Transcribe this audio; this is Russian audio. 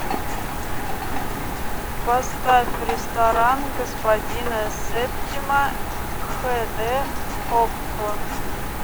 поставь ресторан господина септима хэ дэ окко